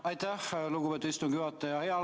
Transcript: Aitäh, lugupeetud istungi juhataja!